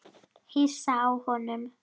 Hissa á honum.